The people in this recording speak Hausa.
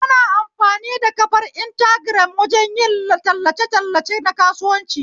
Ana amfani da kafar intagiram wajen yin tallace tallace nakasuwanci